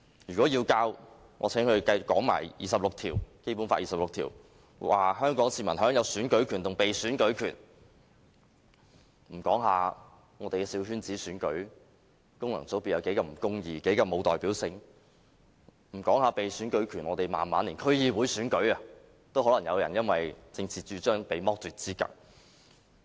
如果要教，我請它也說一說《基本法》第二十六條，香港市民享有選舉權和被選舉權；說一說我們的小圈子選舉，功能界別是多麼不公義，多麼沒有代表性；說一說被選舉權，我們慢慢連區議會選舉都可能有人因為政治主張被剝奪資格。